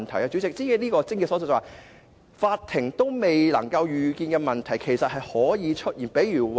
主席，這便是癥結所在，連法庭也未能預見的問題，其實是有可能出現的。